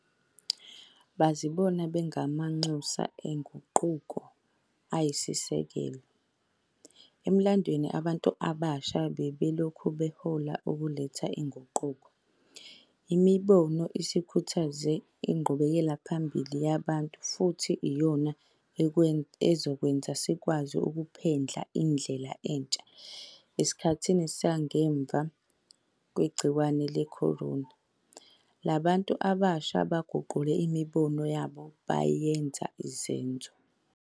Bazibona bengamanxusa enguquko eyisisekelo. Emlandweni abantu abasha bebelokhu behola ukuletha uguquko. Imibono isikhuthaze inqubekelaphambili yabantu futhi iyona ezokwenza sikwazi ukuphendla indlela entsha esikhathini sangemva kwegciwane le-corona. Laba bantu abasha baguqule imibono yabo yaba izenzo.